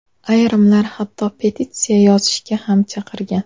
Ayrimlar hatto petitsiya yozishga ham chaqirgan.